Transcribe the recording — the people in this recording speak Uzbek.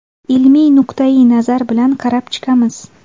Ilmiy nuqtai-nazar bilan qarab chiqamiz.